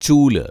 ചൂല്